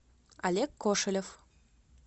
олег кошелев